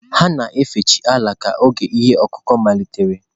Ha na-efe chi Ala ka oge ihe ọkụkụ malitere.